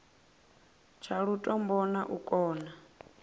tsha lutombo na u kona